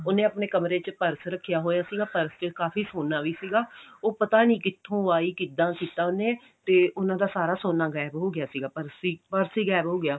ਉਹਨੇ ਆਪਨੇ ਕਮਰੇ ਚ ਪਰਸ ਰੱਖਿਆ ਹੋਇਆ ਸੀਗਾ ਪਰਸ ਚ ਕਾਫੀ ਸੋਨਾ ਵੀ ਸੀਗਾ ਉਹ ਪਤਾ ਨਹੀਂ ਕਿੱਥੋਂ ਆਈ ਕਿੱਦਾਂ ਕੀਤਾ ਉਹਨੇ ਤੇ ਉਹਨਾਂ ਦਾ ਸਾਰਾ ਸੋਨਾ ਗਾਇਬ ਹੋ ਗਿਆ ਸੀਗਾ ਪਰਸ ਹੀ ਪਰਸ ਹੀ ਗਾਇਬ ਹੋ ਗਿਆ